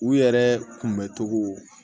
U yɛrɛ kunbɛ cogo